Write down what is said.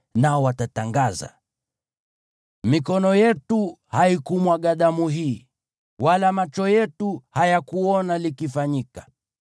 nao watatangaza: “Mikono yetu haikumwaga damu hii, wala macho yetu hayakuona likifanyika.